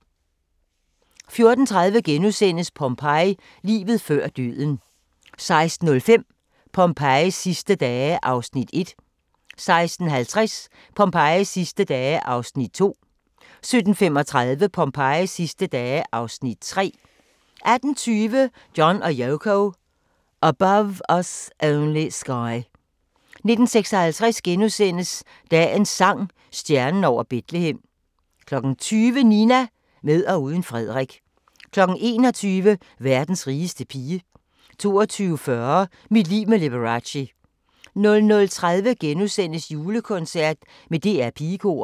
14:30: Pompeii – Livet før døden * 16:05: Pompejis sidste dage (Afs. 1) 16:50: Pompejis sidste dage (Afs. 2) 17:35: Pompejis sidste dage (Afs. 3) 18:20: John & Yoko – Above Us Only Sky 19:56: Dagens sang: Stjernen over Betlehem * 20:00: Nina – med og uden Frederik 21:00: Verdens rigeste pige 22:40: Mit liv med Liberace 00:30: Julekoncert med DR Pigekoret *